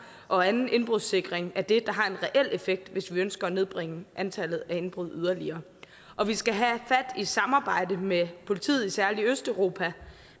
og anden indbrudssikring er det der har en reel effekt hvis vi ønsker at nedbringe antallet af indbrud yderligere og vi skal have fat i samarbejdet med politiet i særlig østeuropa